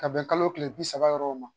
Ka bɛn kalo tile bi saba yɔrɔw ma.